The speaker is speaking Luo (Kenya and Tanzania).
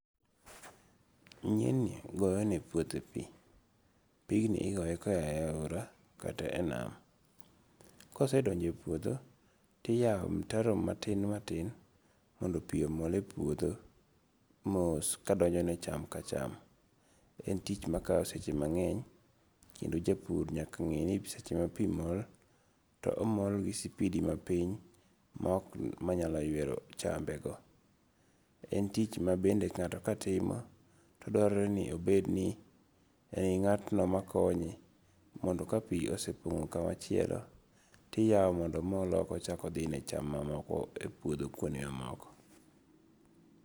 Nyieni goyo ne puothe pii. Pigni igoye koaye aora kata enam . kosedonje puodho tiyaro mtaro matin matin mondo pii omol e puodho mos kadonjo ne cham ka cham. En tich ma kawo seche mang'eny kendo jopur nyaka ng'e ni seche ma pii mol to omol gi sipidi mapiny ma ok ma nyalo ywero chambe go . En tich ma bende ngato ka timo, to dwarore ni obed gi ng'atno ma konye mondo ka pii osepong'o kuma chielo tiyawo mondo omol ok ochak odhi ne cham mamoko e puodho kuond mamoko.